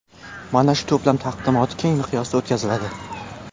Mana shu to‘plam taqdimoti keng miqyosda o‘tkaziladi.